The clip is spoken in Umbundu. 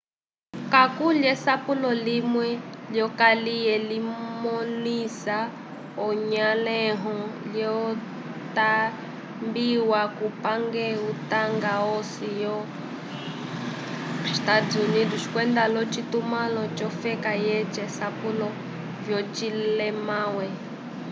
kakuli esapulo limwe lyokaliye limõlisa anyolẽho lyatambwiwa kupange utanga osi yo eua usgs kwenda l’ocitumãlo c’ofeka yeca asapulo vyocilemawe